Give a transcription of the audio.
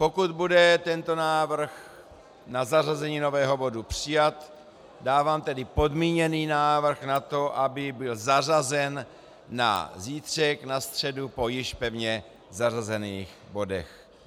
Pokud bude tento návrh na zařazení nového bodu přijat, dávám tedy podmíněný návrh na to, aby byl zařazen na zítřek, na středu po již pevně zařazených bodech.